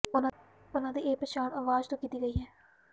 ਉਨ੍ਹਾਂ ਦੀ ਇਹ ਪਛਾਣ ਆਵਾਜ਼ ਤੋਂ ਕੀਤੀ ਗਈ ਹੈ